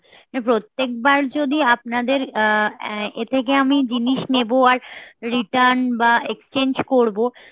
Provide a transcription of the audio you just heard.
প্রত্যেক বার যদি আপনাদের আ~ ই থেকে আমি জিনিস নেবো আর return বা exchange করবো